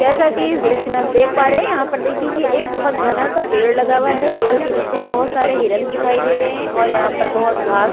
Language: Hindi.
जैसा की इस दॄश्य में हम देख पा रहै है की यहाँ पर देखिए की एक घना सा पेड़ लगा हुआ है पेड़ के निचे बहोत सारे हिरण दिखाई दे रहै है और यहाँ पर बहोत घाँस--